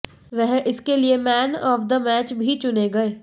वह इसके लिये मैन ऑफ द मैच भी चुने गये